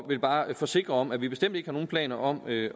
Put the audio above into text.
vil bare forsikre om at vi bestemt ikke har nogen planer om at